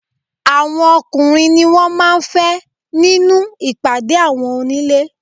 Àwọn ọkùnrin ni wọn máa ń fẹ́ nínú ìpàdé àwọn onílé.